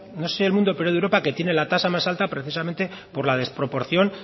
no sé si del mundo pero de europa que tiene la tasa más alta precisamente por la desproporción